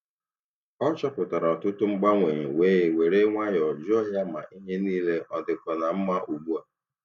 Ọ chọpụtara ọtụtụ mgbanwe wee were nwayọọ jụọ ma ihe niile ọ dịkwa na mma ugbu a.